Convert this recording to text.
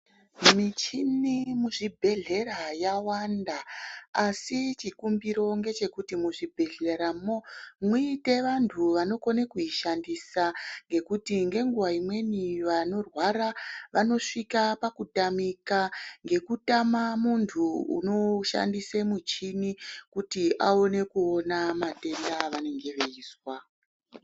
Michini muzvibhedhlera yawanda asi chikumbiro ngechekuti muzvibhedhleramwo muite vantu vanokona kuishandisa. Ngekuti nenguva imweni vanorwa vanosvika pakutamika ngekutama muntu unoshandise michini kuti aone kuona matenda avanenge veizwa.